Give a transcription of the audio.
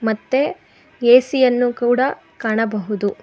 ಮತ್ತೆ ಏ_ಸಿ ಯನ್ನು ಕೂಡ ಕಾಣಬಹುದು.